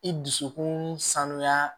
I dusukun sanuya